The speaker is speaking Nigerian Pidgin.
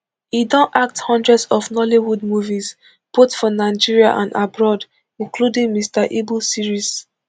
e don act hundreds of nollywood movies both for nigeria and abroad including mr ibu series